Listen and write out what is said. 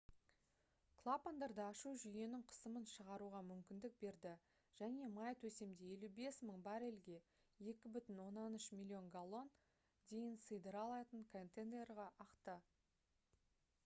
клапандарды ашу жүйенің қысымын шығаруға мүмкіндік берді және май төсемде 55 000 баррельге 2,3 миллион галлон дейін сыйдыра алатын контейнерге ақты